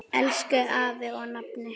Elsku afi og nafni.